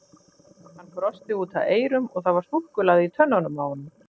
Hann brosti út að eyrum og það var súkkulaði í tönnunum á honum.